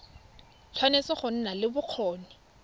tshwanetse go nna le bokgoni